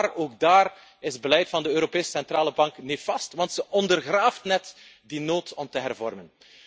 En daar, ook daar, is het beleid van de Europese Centrale Bank nefast, want het ondergraaft net die noodzaak om te hervormen.